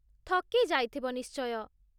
ଥକି ଯାଇଥିବ ନିଶ୍ଚୟ ।